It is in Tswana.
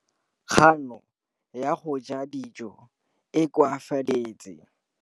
Kganô ya go ja dijo e koafaditse mmele wa molwetse.